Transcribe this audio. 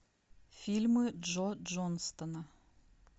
фильмы джо джонстона